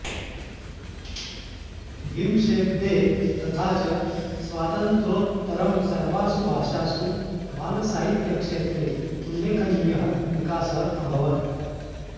विंशेऽब्दे तथा च स्वातन्त्रोत्तरं सर्वासु भाषासु बालसाहित्यक्षेत्रे उल्लेखनीयः विकासः अभवत्